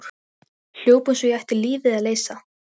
Hljóp eins og ég ætti lífið að leysa.